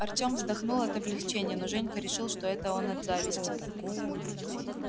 артём вздохнул от облегчения но женька решил что это он от зависти